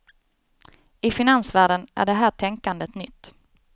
I finansvärlden är det här tänkandet nytt.